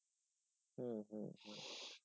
হম হম